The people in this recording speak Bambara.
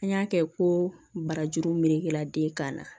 An y'a kɛ ko barajuru melekela den kan na